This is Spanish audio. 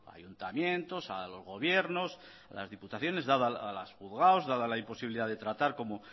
a ayuntamientos a los gobiernos a las diputaciones a los juzgados dada la imposibilidad de tratar como